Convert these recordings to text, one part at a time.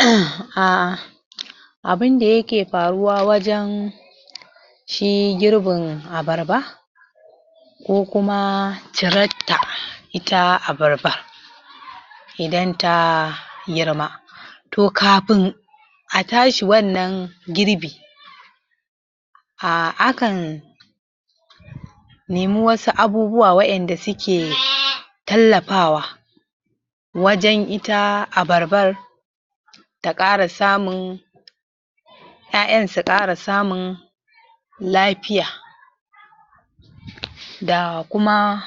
? Abin da yake faruwa wajen shi girbin abarba ko kuma cirar ta ita abarba idan ta girma to kafin a tashi wannan girbi a akan nemi wasu abubuwa waƴanda suke tallafawa wajen ita abarbar ta ƙara samun ƴaƴan su ƙara samun lafiya da kuma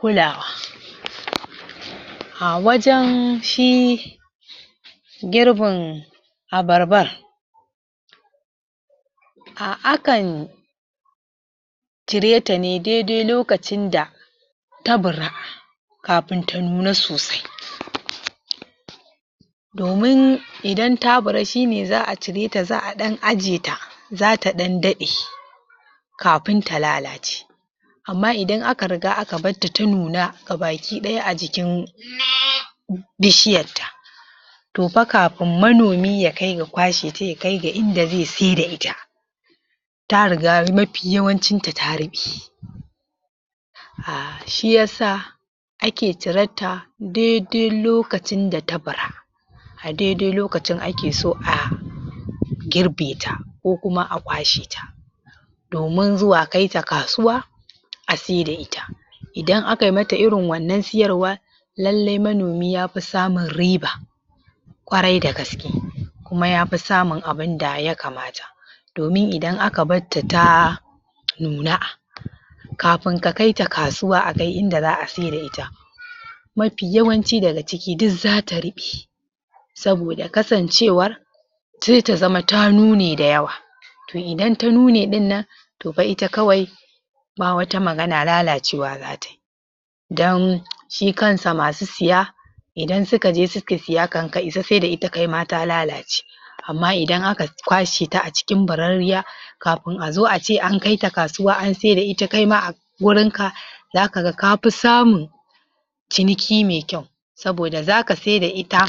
kulawa a wajen shi girbin abarbar akan cire ta ne daidai lokacin da ta bura kafin ta nuna sosai domin idan ta bura shi ne za a cire ta za a ɗan ajiye za ta ɗan daɗe kafin ta lalace amma idan aka riga aka batta ta nuna gabakiɗaya a jikin? bishiyarta to fa kafin manomi ya kai ga kwashe ta ya kai ga inda zai saida ita ta riga mafi yawancin ta ta ruɓe shi yasa ake cirar ta daidai lokacin da ta bura a daidai lokacin ake so a girbe ta ko kuma a kwashe ta domin zuwa kai ta kasuwa a saida ita idan aka yi mata irin wannan siyarwa lallai manomi ya fi samun riba ƙwarai da gaske kuma ya fi samun abin da ya kamata domin idan aka batta ta nuna kafin ka kai ta kasuwa a kai inda za a saida ita mafi yawanci daga ciki duk za ta ruɓe saboda kasancewar sai ta zama ta nune dayawa to idan ta nune ɗin nan to fa ita kawai ba wata magana lalacewa za tai don shi kansa masu siya idan suka je suke siya kan ka isa saida ita kai ma ta lalace amma idan aka kwashe ta a cikin bararriya kafin a zo ace an kai ta kasuwa an saida ita kai ma wurin ka zaka ga ka fi samun ciniki mai kyau saboda zaka saida ita